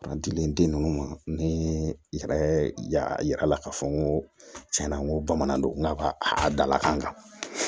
A dilen den ninnu ma ni i yɛrɛ y'a yira a la k'a fɔ n ko tiɲɛna n ko bamanan donna ka a dala kan